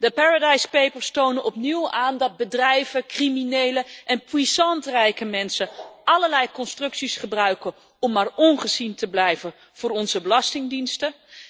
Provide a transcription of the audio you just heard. De Paradise Papers tonen opnieuw aan dat bedrijven, criminelen en puissant rijke mensen allerlei constructies gebruiken om maar ongezien te blijven voor onze belastingdiensten.